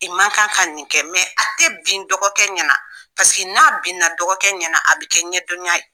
I man kan ka nin kɛ mɛ a tɛ bin dɔgɔkɛ ɲɛna, paseke n'a bin na dɔgɔkɛ ɲɛna, a bɛ kɛ ɲɛdɔnya ye.